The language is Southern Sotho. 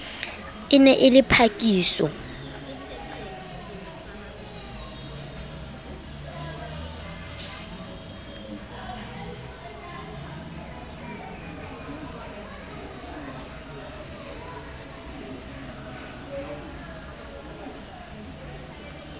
e ne e le phakiso